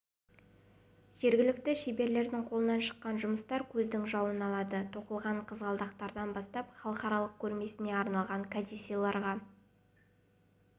жергілікті шеберлердің қолынан шыққан жұмыстар көздің жауын алады тоқылған қызғалдақтардан бастап халықаралық көрмесіне арналған кәдесыйларға